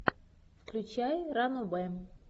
включай ранобэ